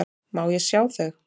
Má ég sjá þau?